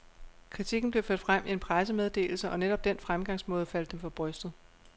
Kritikken blev ført frem i en pressemeddelse, og netop den fremgangsmåde faldt dem for brystet.